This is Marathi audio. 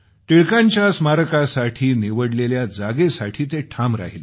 टिळकांच्या स्मारकासाठी निवडलेल्या जागेसाठी ते ठाम राहिले